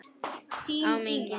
Áminningin er ekki tilefnislaus.